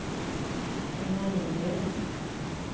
Einar Nygren